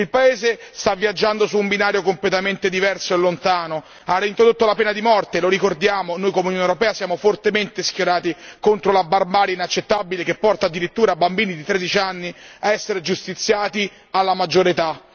Il paese sta viaggiando su un binario completamente diverso e lontano, ha reintrodotto la pena di morte lo ricordiamo noi come Unione europea siamo fortemente schierati contro la barbarie inaccettabile che porta addirittura bambini di 13 anni a essere giustiziati alla maggiore età.